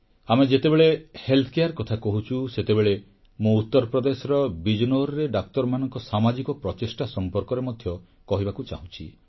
ଆମେ ଯେତେବେଳେ ସ୍ୱାସ୍ଥ୍ୟରକ୍ଷା କଥା କହୁଛୁ ସେତେବେଳେ ମୁଁ ଉତ୍ତରପ୍ରଦେଶର ବିଜନୌରରେ ଡାକ୍ତରମାନଙ୍କ ସାମାଜିକ ପ୍ରଚେଷ୍ଟା ସମ୍ପର୍କରେ ମଧ୍ୟ କହିବାକୁ ଚାହୁଁଛି